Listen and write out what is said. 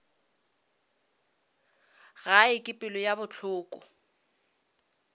gae ka pelo ye bohloko